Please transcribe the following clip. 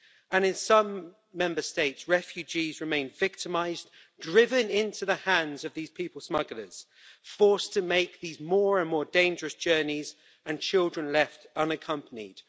And in some Member States, refugees remain victimised, driven into the hands of these people smugglers, forced to make these more and more dangerous journeys, and children left unaccompanied.